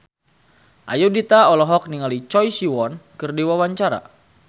Ayudhita olohok ningali Choi Siwon keur diwawancara